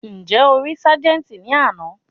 Ǹjẹ́ o rí ságẹ́ńtì ní àná?